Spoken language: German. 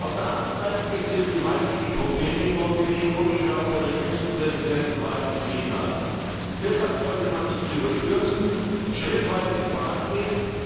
Auf der anderen Seite gibt es gewaltige Probleme in Montenegro, wie wir auch bei der jüngsten Präsidentenwahl gesehen haben. Deshalb sollte man nichts überstürzen und schrittweise vorangehen.